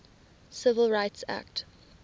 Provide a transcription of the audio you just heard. civil rights act